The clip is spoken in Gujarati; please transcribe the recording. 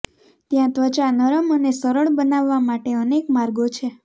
ત્યાં ત્વચા નરમ અને સરળ બનાવવા માટે અનેક માર્ગો છે